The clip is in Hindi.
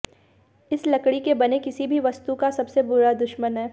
इस लकड़ी के बने किसी भी वस्तु का सबसे बुरा दुश्मन है